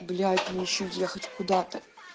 блять мне ещё ехать куда-то